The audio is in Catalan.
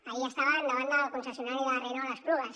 ahir estaven davant del concessionari de la renault a esplugues